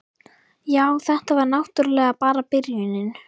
Já, þetta var náttúrlega bara byrjunin.